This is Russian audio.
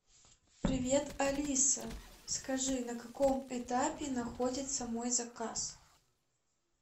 привет алиса скажи на каком этапе находится мой заказ